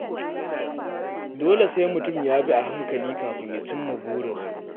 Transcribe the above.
Dole sai mutum ya bi a hankali kafin ya cimma burinsa.